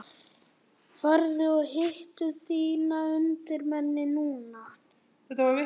Ferðu og hittir þína undirmenn núna?